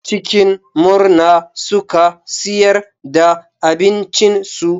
Cikin murna suka siyar da abincinsu.